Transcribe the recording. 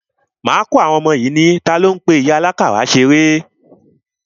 Máa kọ́ àwọn ọmọ yìí ní, talo ń pe ìyá àlákàrà ṣeré?